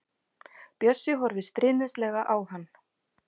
Bjössi horfir stríðnislega á hann.